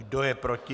Kdo je proti?